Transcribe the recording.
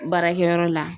Baarakɛyɔrɔ la